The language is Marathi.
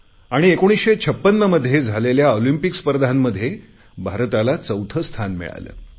आणि 1956 मध्ये झालेल्या ऑलिंपिक स्पर्धांमध्ये भारताला चौथे स्थान मिळाले